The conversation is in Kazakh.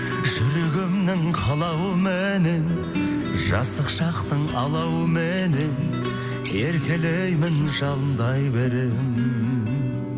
жүрегімнің қалауыменен жастық шақтың алауыменен еркелеймін жалындай беремін